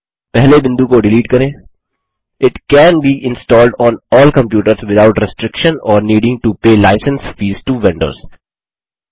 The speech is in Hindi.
पहले बिंदु को डिलीट करें it can be installed on all computers without restriction or needing to pay licence fees to vendors